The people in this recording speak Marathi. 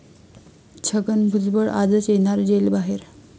छगन भुजबळ आजच येणार जेल बाहेर?